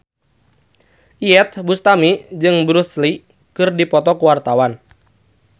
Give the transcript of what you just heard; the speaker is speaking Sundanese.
Iyeth Bustami jeung Bruce Lee keur dipoto ku wartawan